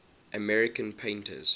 american painters